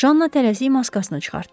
Janna tələsik maskasını çıxartdı.